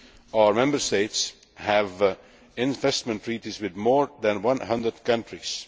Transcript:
Our Member States have investment treaties with more than 100 countries.